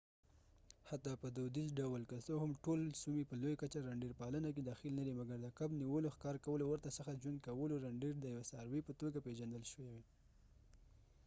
حتی په دودیز ډول که څه هم ټول سومي په لویه کچه رینډیر پالنه کې دخیل ندي مګر د کب نیولو ښکار کولو او ورته څخه ژوند کولو رینډیر د یوې څاروي په توګه پیژندل شوې